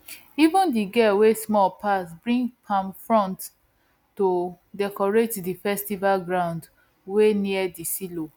even the girl wey small pass bring palm frond to decorate di festival ground wey near the silo